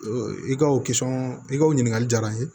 I ka o i ka o ɲininkali diyara n ye